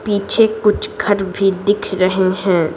पीछे कुछ घर भी दिख रहे हैं।